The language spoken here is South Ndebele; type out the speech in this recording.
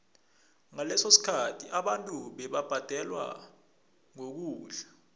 ngaleso sikhathi abantu bebabhadelwa ngokudla